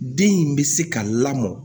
Den in bɛ se ka lamɔ